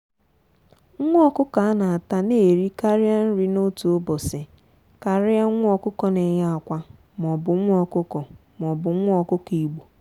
nwa ọkụkọ a na ata n'eri karị nri n'otu ubosi karịa nwa ọkụkọ n'eye akwa maọbu nwa ọkụkọ maọbu nwa ọkụkọ igbo.